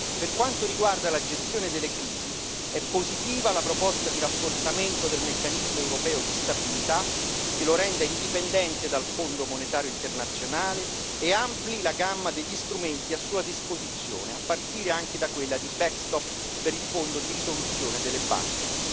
Per quanto riguarda la gestione delle crisi, è positiva la proposta di rafforzamento del Meccanismo europeo di stabilità, che lo renda indipendente dal Fondo monetario internazionale e ampli la gamma degli strumenti a sua disposizione, a partire anche da quella di backstop per il Fondo di risoluzione delle banche.